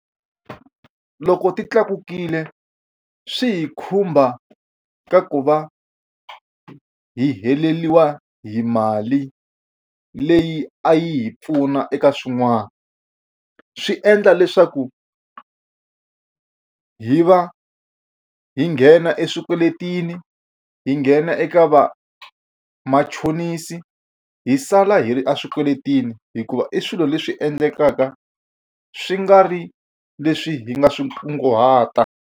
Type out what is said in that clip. Loko ti tlakukile swi hi khumba ka ku va hi heleriwa hi mali leyi a yi hi pfuna eka swin'wana swi endla leswaku hi va hi nghena eswikweletini hi nghena eka vamachonisi hi sala hi ri eswikweletini hikuva i swilo leswi endlekaka swi nga ri leswi hi nga swi kunguhata.